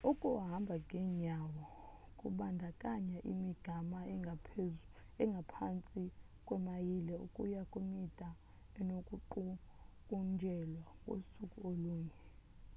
ukuhamba ngenyawo kubandakanya imigama engaphantsi kwemayile ukuya kwemide enokuqukunjelwa ngosuku olunye